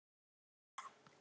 Jóhanna: Flottur?